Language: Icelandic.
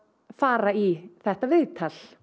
fara í þetta viðtal